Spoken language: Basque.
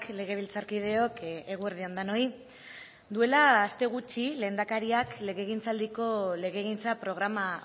legebiltzarkideok eguerdi on denoi duela aste gutxi lehendakariak legegintzaldiko legegintza programa